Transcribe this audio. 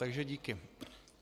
Takže díky.